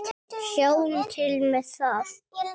Sjáum til með það.